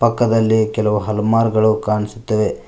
ಪಕ್ಕದಲ್ಲಿ ಕೆಲವು ಅಲ್ಮಾರ್ ಗಳು ಕಾಣಿಸುತ್ತವೆ.